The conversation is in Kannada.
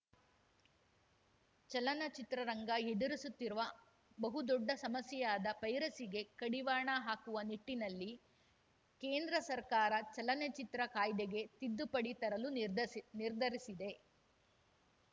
ಚಲನಚಿತ್ರ ರಂಗ ಎದುರಿಸುತ್ತಿರುವ ಬಹುದೊಡ್ಡ ಸಮಸ್ಯೆಯಾದ ಪೈರಸಿ ಗೆ ಕಡಿವಾಣ ಹಾಕುವ ನಿಟ್ಟಿನಲ್ಲಿ ಕೇಂದ್ರ ಸರ್ಕಾರ ಚಲನಚಿತ್ರ ಕಾಯ್ದೆಗೆ ತಿದ್ದುಪಡಿ ತರಲು ನಿರ್ಧಸ್ ನಿರ್ಧರಿಸಿದೆ